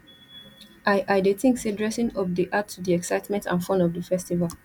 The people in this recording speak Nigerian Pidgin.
i i dey think say dressing up dey add to di excitement and fun of di festival